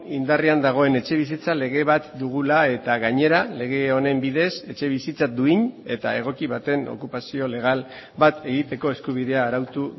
indarrean dagoen etxebizitza lege bat dugula eta gainera lege honen bidez etxebizitza duin eta egoki baten okupazio legal bat egiteko eskubidea arautu